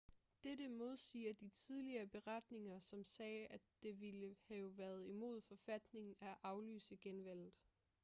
dette modsiger de tidligere beretninger som sagde at det ville have været imod forfatningen at aflyse genvalget